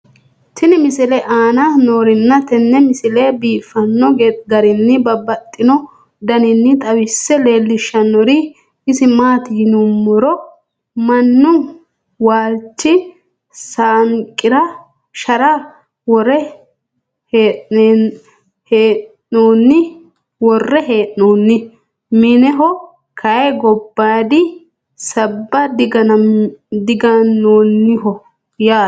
tenne misile aana noorina tini misile biiffanno garinni babaxxinno daniinni xawisse leelishanori isi maati yinummoro minnu waalichi saanqira shara worre hee'nonni. Mineho kayi gobaadi sabba diganoonniho yaatte